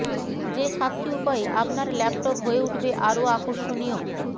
যে সাতটি উপায়ে আপনার ল্যাপটপ হয়ে উঠবে আরও আকর্ষণীয়